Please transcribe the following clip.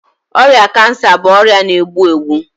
ọrịa kansa bụ ọrịa na-egbu egbu.